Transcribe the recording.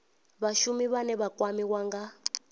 vhashumi vhane vha kwamiwa nga